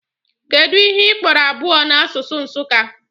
Kedụ ihe ị kpọrọ abụọ n'asụsụ Nsụka?